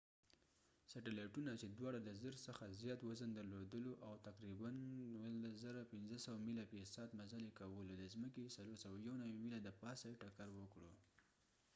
سیټیلایټونو چې دواړو د 1000 څخه زیات وزن درلودلو او تقریباً17,500 میله فی ساعت مزل یې کولو د ځمکې 491 میله دپاسه یې ټکر وکړو